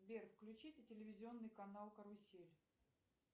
сбер включите телевизионный канал карусель